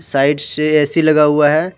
Side से A C लगा हुआ है।